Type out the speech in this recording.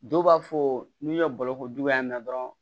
Dɔw b'a fɔ n'u ye balo ko juguya na dɔrɔn